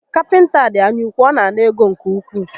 Kapịnta a dị anya úkwú, ọ na ana ego nke ukwuu